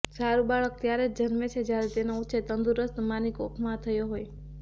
સારુ બાળક ત્યારે જ જન્મે છે જ્યારે તેનો ઉછેર તંદુરસ્ત માની કોંખમાં થયો હોય